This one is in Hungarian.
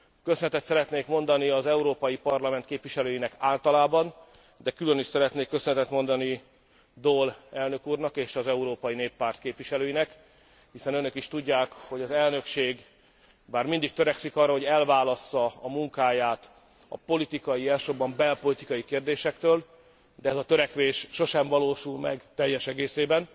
Köszönetet szeretnék mondani az Európai Parlament képviselőinek általában, de külön is szeretnék köszönetet mondani Daul elnök úrnak és az Európai Néppárt képviselőinek, hiszen önök is tudják, hogy az elnökség, bár mindig törekszik arra, hogy elválassza a munkáját a politikai, elsősorban belpolitikai kérdésektől, de ez a törekvés sosem valósul meg teljes egészében,